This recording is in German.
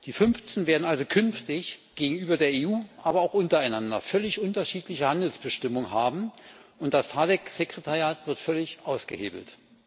Die fünfzehn werden also künftig gegenüber der EU, aber auch untereinander völlig unterschiedliche Handelsbestimmungen haben und das SADC-Sekretariat wird völlig ausgehebelt.